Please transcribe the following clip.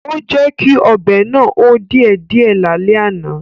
Ó jẹ́kí ọbẹ̀ náà hó díẹ̀ díẹ̀ lálẹ́ àná